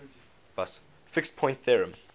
fixed point theorem